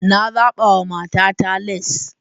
Na zaba wa matata lace.